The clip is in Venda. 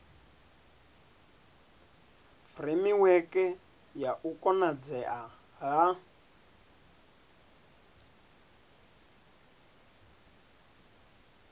furemiweke ya u konadzea ha